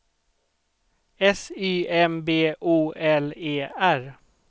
S Y M B O L E R